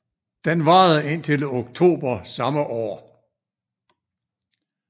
Den varede indtil oktober samme år